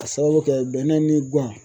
Ka sababu kɛ bɛnɛ ni gan